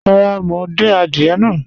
Rárá, mo ń dín àdìẹ̀ náà.